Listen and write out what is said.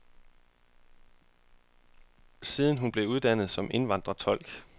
Siden blev hun uddannet som indvandrertolk.